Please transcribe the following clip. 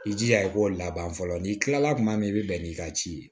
I jija i k'o laban fɔlɔ n'i kilala kuma min i bi bɛn n'i ka ci ye